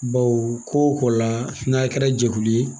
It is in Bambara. Baw ko la n'a kɛra jɛkulu ye